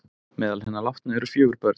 Meðal hinna látnu eru fjögur börn